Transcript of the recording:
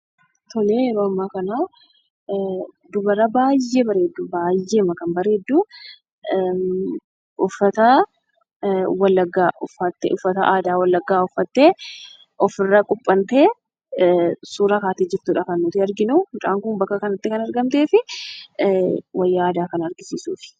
Tole yeroo amma kana Dubara baayyee bareedduu ! Uffataa aadaa Wallagga uffattee ofirra qubbantee suuraa kaatee jirtudha kan nuti arginu, mucaan kun bakka kanattii kan argamteef wayya aadaa kana agarsiisuufi.